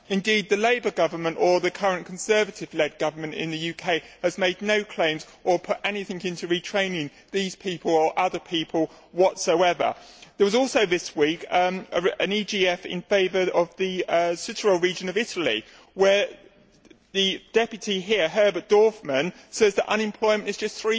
Indeed the Labour government or the current Conservative led government in the UK has made no claims or put anything into retraining these people or other people whatsoever. There was also this week an EGF in favour of the Südtirol region of Italy, where the Member here, Mr Dorfmann, says that unemployment is just